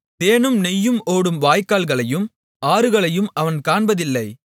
தேனும் நெய்யும் ஓடும் வாய்க்கால்களையும் ஆறுகளையும் அவன் காண்பதில்லை